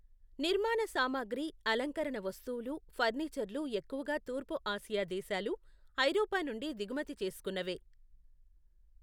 నిర్మాణ సామగ్రి, అలంకరణ వస్తువులు, ఫర్నిచర్లు ఎక్కువగా తూర్పు ఆసియా దేశాలు, ఐరోపా నుండి దిగుమతి చేసుకున్నవే.